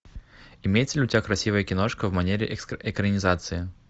имеется ли у тебя красивая киношка в манере экранизации